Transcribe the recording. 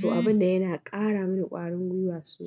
to abin da yana ƙara mani ƙwarin gwiwa sosai.